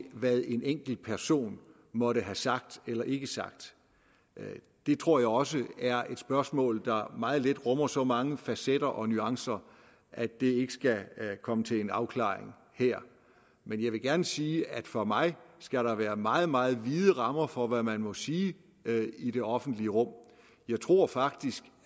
hvad en enkelt person måtte have sagt eller ikke sagt det tror jeg også er et spørgsmål der meget let rummer så mange facetter og nuancer at det ikke skal komme til en afklaring her men jeg vil gerne sige at for mig skal der være meget meget vide rammer for hvad man må sige i det offentlige rum jeg tror faktisk